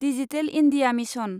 digital India mission